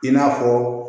I n'a fɔ